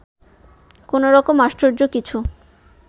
কোনরকম আশ্চর্য কিছু